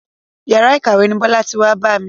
Yàrá ìkàwé ni Bọ́lá ti wá bá mi.